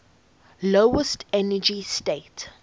lowest energy state